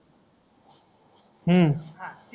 हम्म हा